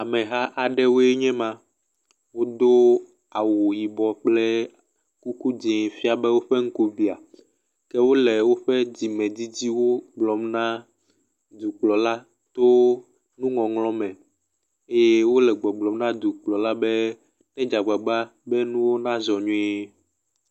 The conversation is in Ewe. Ameha aɖewoe nye ma. Wodo awu yibɔ kple kuku dzĩ fia be woƒe ŋku biã. Ke wole woƒe dzime dzidziwo gblɔm na dukplɔla to nuŋɔŋlɔ me eye wole gbɔgblɔm na dukplɔla be nèdze agbagba be nuwo nazɔ nyuie.